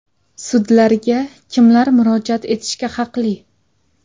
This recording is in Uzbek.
Sudlarga kimlar murojaat etishga haqli?.